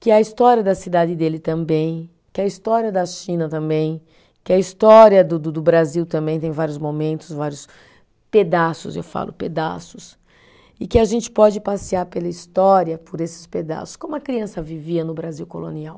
Que a história da cidade dele também, que a história da China também, que a história do do do Brasil também tem vários momentos, vários pedaços, eu falo pedaços, e que a gente pode passear pela história por esses pedaços, como a criança vivia no Brasil colonial.